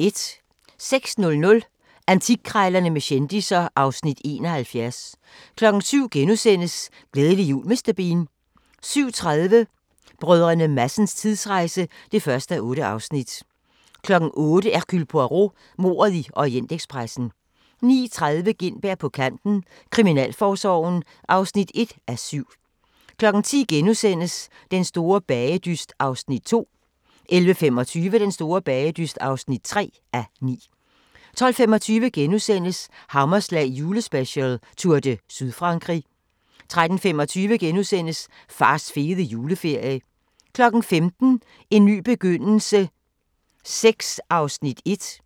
06:00: Antikkrejlerne med kendisser (Afs. 71) 07:00: Glædelig jul Mr. Bean * 07:30: Brdr. Madsens tidsrejse (1:8) 08:00: Hercule Poirot: Mordet i Orientekspressen 09:30: Gintberg på kanten – Kriminalforsorgen (1:7) 10:00: Den store bagedyst (2:9)* 11:25: Den store bagedyst (3:9) 12:25: Hammerslag julespecial: Tour de Sydfrankrig * 13:25: Fars fede juleferie * 15:00: En ny begyndelse VI (1:10)